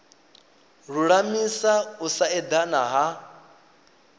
lulamisa u sa edana ha